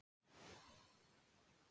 Ég held að allir.